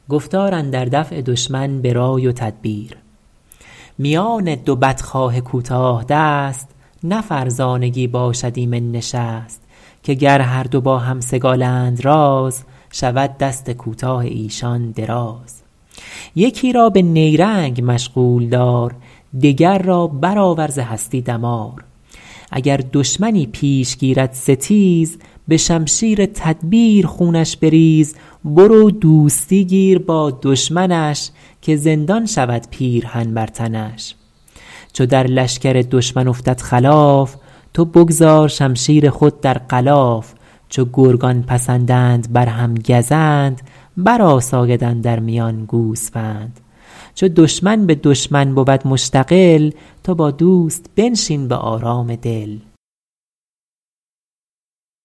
میان دو بدخواه کوتاه دست نه فرزانگی باشد ایمن نشست که گر هر دو باهم سگالند راز شود دست کوتاه ایشان دراز یکی را به نیرنگ مشغول دار دگر را برآور ز هستی دمار اگر دشمنی پیش گیرد ستیز به شمشیر تدبیر خونش بریز برو دوستی گیر با دشمنش که زندان شود پیرهن بر تنش چو در لشکر دشمن افتد خلاف تو بگذار شمشیر خود در غلاف چو گرگان پسندند بر هم گزند بر آساید اندر میان گوسفند چو دشمن به دشمن بود مشتغل تو با دوست بنشین به آرام دل